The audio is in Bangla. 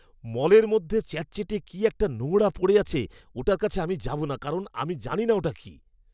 মলের মধ্যে চ্যাটচ্যাটে কী একটা নোংরা পড়ে আছে ওটার কাছে আমি যাব না কারণ আমি জানিনা ওটা কী!